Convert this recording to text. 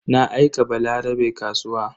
Na aika Balarabe kasuwa.